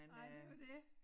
Nej det jo det